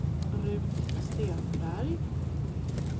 Ruth Stenberg